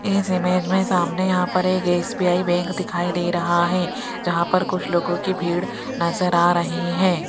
इस इमेज में सामने यहाँ पर एक एस_बी_आई बैंक दिखाई दे रहा हैं जहाँ पर कुछ लोगों कि भीड़ नजर आ रही हैं।